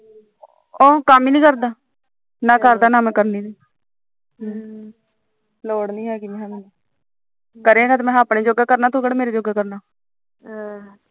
ਉਹ ਕੰਮ ਨੀ ਕਰਦਾ ਨਾ ਮੈਂ ਕਹਿੰਦੀ ਲੋੜ ਨੀ ਹੈਗੀ ਕਰੇ ਤਾਂ ਆਪਣੇ ਜੋਗਾ ਕਰਨਾ ਤੂੰ ਕਿਹੜਾ ਮੇਰੇ ਜੋਗਾ ਕਰਨਾ ਆਹੋ